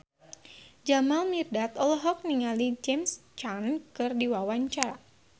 Jamal Mirdad olohok ningali James Caan keur diwawancara